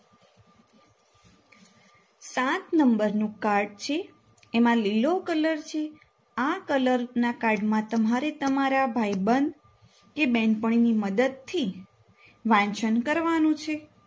સાત Number નું card છે એમાં લીલો કલર છે આ કલરના card માં તમારે તમારા ભાઈબંધ કે બહેનપણીની મદદથી વાંચન કરવાનું છે.